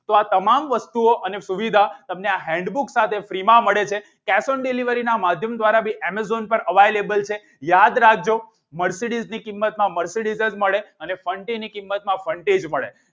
તો આ તમામ વસ્તુઓ અને સુવિધાઓ તમને આ handbook સાથે free માં મળે છે cash on delivery ના માધ્યમથી દ્વારા પણ amazon પર available છે યાદ રાખજો mercedes ની કિંમતમાં mercedes જ મળે અને ફન્ટી ની કિંમતમાં ફન્ટી જ મળે.